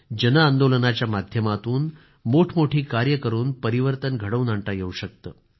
जनआंदोलनाच्या माध्यमातून मोठमोठी कार्य करून परिवर्तन घडवून आणता येवू शकते